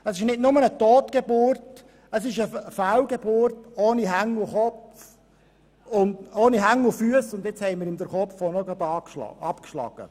Es ist nicht nur eine Totgeburt, vielmehr ist es eine Fehlgeburt ohne Hände und Füsse, und nun haben wir ihm soeben auch noch den Kopf abgeschlagen.